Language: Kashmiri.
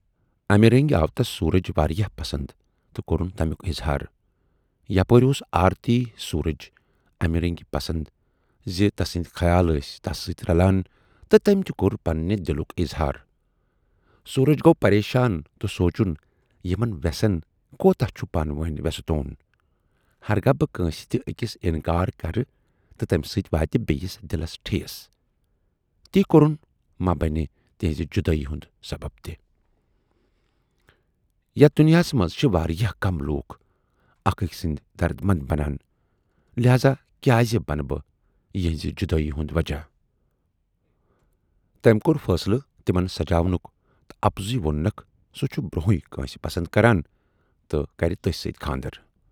اَمہِ رٔنگۍ آو تس سورج واراہ پسند تہٕ کورُن تمیُک اِظہار۔ یپٲرۍ اوس آرتی سورج امہِ رٔنگۍ پسَند زِ تسٕندۍ خیال ٲسۍ تس سٍتۍ رلان تہٕ تمٔۍ تہِ کور پنٕنہِ دِلُک اِظہار۔ سورج گَو پریشان تہٕ سونچُن یِمن وٮ۪سن کوٗتاہ چھُ پانہٕ وٲنۍ وٮ۪ستوٗن ہرگاہ بہٕ کٲنسہِ تہِ ٲکِس آنکار کرٕ تہٕ تمہِ سٍتۍ واتہِ بییِس دِلس ٹھیٖس۔ تی کَرُن ما بنہِ تِہٕنزِ جُدٲیی ہُند سَبب تہِ۔ یَتھ دُنیاہَس منز چھِ واراہ کم لوٗکھ اکھ ٲکۍ سٕندۍ دردمند بنان، لہذا کیازِ بنہٕ بہٕ یِہٕندِ جُدٲیی ہُند وجہہ۔ تمٔۍ کور فٲصلہٕ تِمن سمجاونُک تہٕ اَپزُے ووننکھسُہ چھُ برونہےٕ کٲنسہِ پَسند کران تہٕ کرِ تسٔۍ سٍتۍ کھاندر۔